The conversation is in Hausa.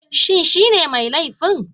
Shin shine mai laifin?